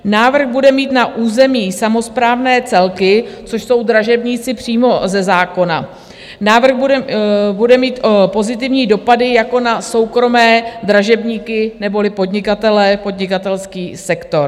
Návrh bude mít na územní samosprávné celky, což jsou dražebníci přímo ze zákona, návrh bude mít pozitivní dopady jako na soukromé dražebníky neboli podnikatele, podnikatelský sektor.